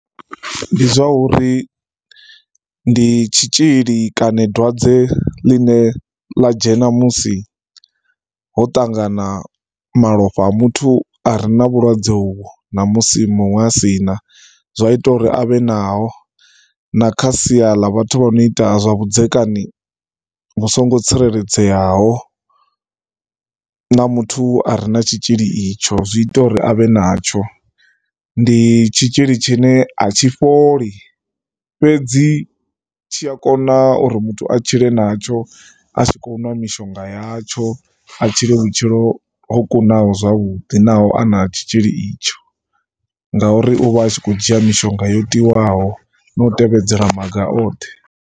Ndi zwa uri ndi tshitzhili kana dwadze ḽine ḽa dzhena musi ho ṱangana malofha a muthu a re na vhulwadze uvho na musi muṅwe a si na. Zwi a ita uri a vhe naho na kha sia ḽa vhathu vho no ita zwavhudzekani vhu songo tsireledzeaho na muthu a re na tshitzhili itsho, zwi ita uri a vhe natsho. Ndi tshi tshitzhili tshine a tshi fholi, fhedzi tshi a kona uri muthu a tshile natsho a tshi khou nwa mishonga yatsho. A tshile vhutshilo ho kunaho zwavhuḓi naho a na tshitzhili itsho ngauri u vha a tshi khou dzhia mishonga